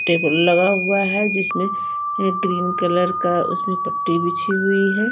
Table लगा हुआ है जिसमे है ग्रीन कलर का उसमे पट्टी बिची हुई है।